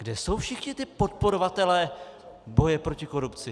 Kde jsou všichni ti podporovatelé boje proti korupci?